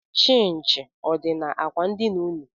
Chịnchị ọ dị n'akwa ndina ụnụ?